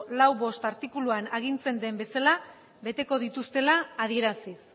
lau puntu bost artikuluan agintzen den bezala beteko dituztela adieraziz